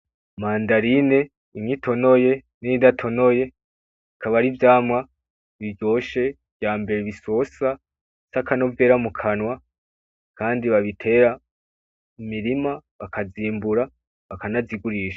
Mandarine imwe itonoye N’iyidatonoye bikaba ari ivyamwa biryoshe vyambere bisosa bifise akanovera mukanwa kandi babitera mu mirima bakazimbura bakanazigurisha.